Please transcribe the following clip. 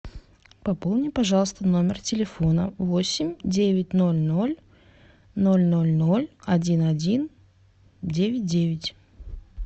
пополни пожалуйста номер телефона восемь девять ноль ноль ноль ноль ноль один один девять девять